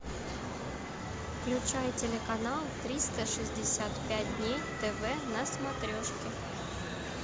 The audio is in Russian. включай телеканал триста шестьдесят пять дней тв на смотрешке